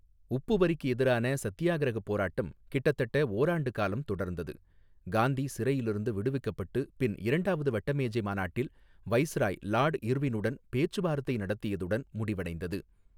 உப்பு வரிக்கு எதிரான சத்தியாகிரக போராட்டம் கிட்டத்தட்ட ஓராண்டு காலம் தொடர்ந்தது, காந்தி சிறையிலிருந்து விடுவிக்கப்பட்டு பின் இரண்டாவது வட்டமேஜை மாநாட்டில் வைஸ்ராய் லாட் இர்வினுடன் பேச்சுவார்த்தை நடத்தியதுடன் முடிவடைந்தது.